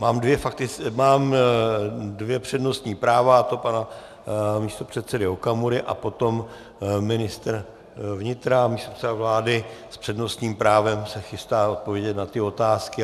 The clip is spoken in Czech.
Mám dvě přednostní práva, a to pana místopředsedy Okamury a potom ministr vnitra a místopředseda vlády s přednostním právem se chystá odpovědět na ty otázky.